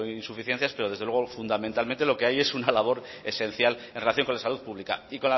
insuficiencias pero desde luego fundamentalmente lo que hay es una labor esencial en relación con la salud pública y